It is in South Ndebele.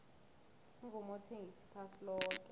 umvumo uthengisa iphasi loke